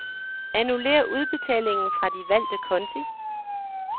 Annullér udbetalingen fra de valgte konti.